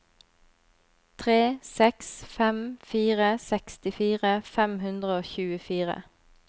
tre seks fem fire sekstifire fem hundre og tjuefire